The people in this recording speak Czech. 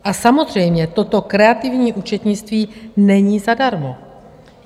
A samozřejmě, toto kreativní účetnictví není zadarmo.